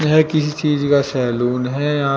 यह किसी चीज का सैलून है यहां--